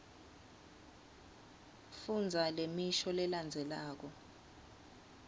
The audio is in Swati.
fundza lemisho lelandzelako